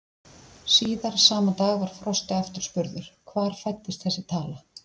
Síðar, sama dag, var Frosti aftur spurður, hvar fæddist þessi tala?